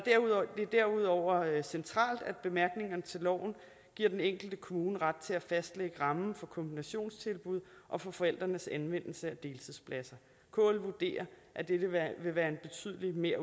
derudover centralt at bemærkningerne til loven giver den enkelte kommune ret til at fastlægge rammen for kombinationstilbud og for forældrenes anvendelse af deltidspladser kl vurderer at dette vil være en betydelig